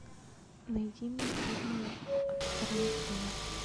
найди мне фильмы от тарантино